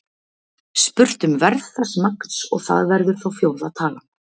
Spurt um verð þess magns og það verður þá fjórða talan.